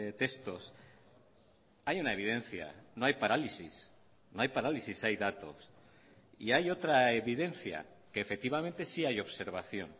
textos hay una evidencia no hay parálisis no hay parálisis hay datos y hay otra evidencia que efectivamente sí hay observación